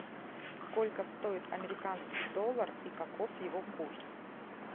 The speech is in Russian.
сколько стоит американский доллар и каков его курс